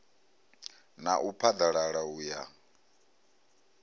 na u phaḓalala u ya